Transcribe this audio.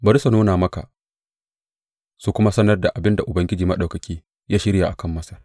Bari su nuna maka su kuma sanar da abin da Ubangiji Maɗaukaki ya shirya a kan Masar.